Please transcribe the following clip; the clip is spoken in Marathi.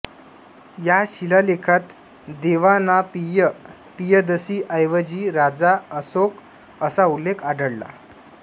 या शिलालेखात देवानांपिय पियदसि ऐवजी राजा असोक असा उल्लेख आढळला